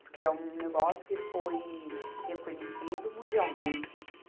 Porque é um negócio que foi reconhecido mundialmente.